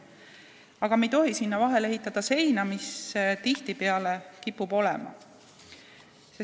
Aga me ei tohi sinna vahele ehitada seina, mis tihtipeale seal kipub olema.